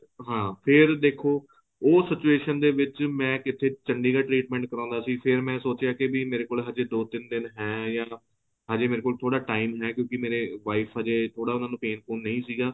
ਹਾਂ ਫ਼ੇਰ ਦੇਖੋ ਉਹ situation ਦੇ ਵਿੱਚ ਮੈਂ ਕਿਥੇ ਚੰਡੀਗੜ੍ਹ treatment ਕਰਾਉਦਾ ਸੀ ਫ਼ੇਰ ਮੈਂ ਸੋਚਿਆ ਕੀ ਮੇਰੇ ਕੋਲ ਅਜੇ ਦੋ ਤਿੰਨ ਦਿਨ ਹੈ ਅਜੇ ਮੇਰੇ ਕੋਲ ਥੋੜਾ time ਹੈ ਕਿਉਂਕਿ ਮੇਰੇ wife ਅਜੇ ਥੋੜਾ ਉਹਨਾ ਨੂੰ pain ਪੁਨ ਨਹੀਂ ਸੀਗਾ